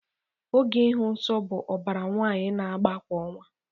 Oge ịhụ nsọ bụ ọbara nwaanyị na-agba kwa ọnwa